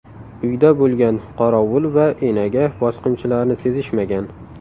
Uyda bo‘lgan qorovul va enaga bosqinchilarni sezishmagan.